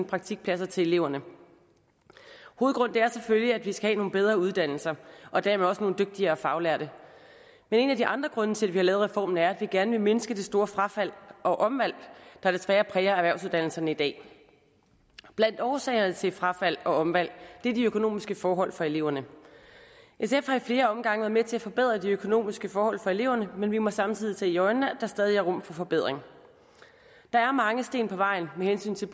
praktikpladser til eleverne hovedgrunden er selvfølgelig at vi skal have nogle bedre uddannelser og dermed også nogle dygtigere faglærte men en af de andre grunde til at vi har lavet reformen er at vi gerne vil mindske det store frafald og omvalg der desværre præger erhvervsuddannelserne i dag blandt årsagerne til frafald og omvalg er de økonomiske forhold for eleverne sf har i flere omgange været med til at forbedre de økonomiske forhold for eleverne men vi må samtidig se i øjnene at der stadig er rum for forbedring der er mange sten på vejen med hensyn til